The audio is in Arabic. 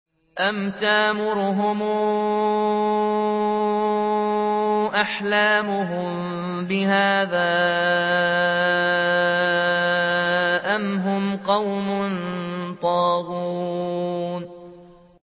أَمْ تَأْمُرُهُمْ أَحْلَامُهُم بِهَٰذَا ۚ أَمْ هُمْ قَوْمٌ طَاغُونَ